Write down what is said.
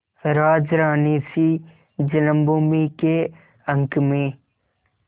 राजरानीसी जन्मभूमि के अंक में